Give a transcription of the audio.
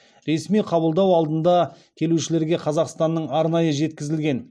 ресми қабылдау алдында келушілерге қазақстаннан арнайы жеткізілген